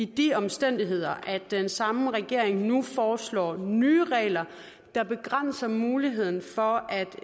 de omstændigheder at den samme regering så nu foreslår nye regler der begrænser muligheden for at